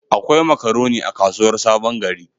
Akwai makaroni a kasuwar Sabon gari.